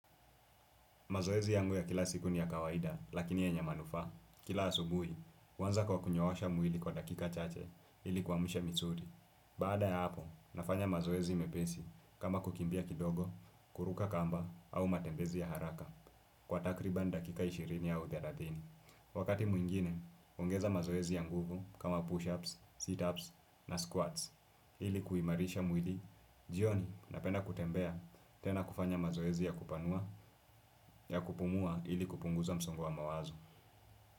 Mazoezi yangu ya kila siku ni ya kawaida, lakini yenye manufaa, kila asubuhi, huanza kwa kunyoosha mwili kwa dakika chache ili kuamsha misuli. Baada ya hapo, nafanya mazoezi mepesi kama kukimbia kidogo, kuruka kamba, au matembezi ya haraka kwa takriban dakika ishirini au thelathini. Wakati mwingine, huongeza mazoezi ya nguvu kama push-ups, sit-ups na squats ili kuimarisha mwili, jioni napenda kutembea tena kufanya mazoezi ya kupanua. Ya kupumua ili kupunguza msongo wa mawazo.